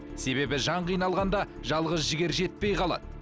себебі жан қиналғанда жалғыз жігер жетпей қалады